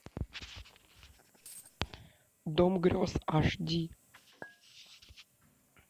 дом грез аш ди